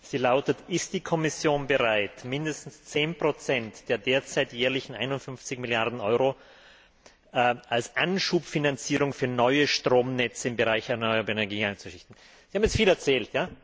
Sie lautet Ist die Kommission bereit, mindestens 10 der derzeit jährlich 51 Milliarden Euro als Anschubfinanzierung für neue Stromnetze im Bereich erneuerbarer Energien einzurichten? Sie haben jetzt viel erzählt.